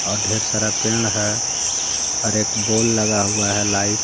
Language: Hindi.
और ढेर सारा पेड़ है और एक बोल लगा हुआ है लाइट --